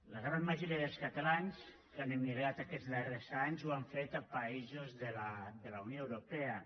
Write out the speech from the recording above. la gran majoria dels catalans que han emigrat aquests darrers anys ho han fet a països de la unió europea